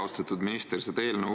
Austatud minister!